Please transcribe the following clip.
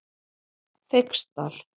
Feigsdal